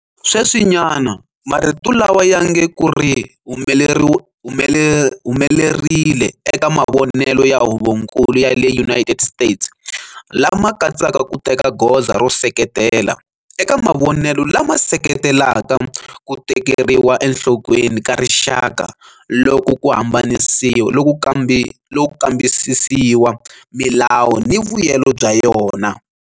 Sweswinyana, marito lawa ya nge ku ri humelerile eka mavonelo ya Huvonkulu ya le United States lama katsaka ku teka goza ro seketela, eka mavonelo lama seketelaka ku tekeriwa enhlokweni ka rixaka loko ku kambisisiwa milawu ni vuyelo bya yona.